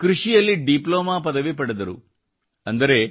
ಮತ್ತು ಕೃಷಿಯಲ್ಲಿ ಡಿಪ್ಲೊಮಾ ಪದವಿ ಪಡೆದರು